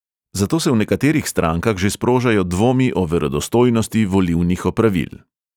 Zato se v nekaterih strankah že sprožajo dvomi o verodostojnosti volilnih opravil.